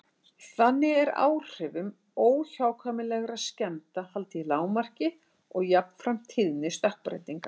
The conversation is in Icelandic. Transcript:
Þannig er áhrifum óhjákvæmilegra skemmda haldið í lágmarki og jafnframt tíðni stökkbreytinga.